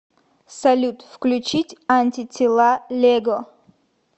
салют включить антитела лего